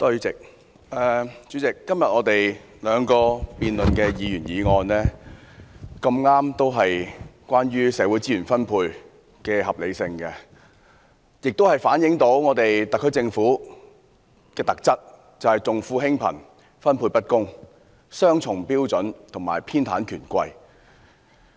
主席，今天我們辯論的兩項議員議案，剛巧都是關於社會資源分配的合理性，反映特區政府的特質，便是重富輕貧，分配不公，採用雙重標準和偏袒權貴。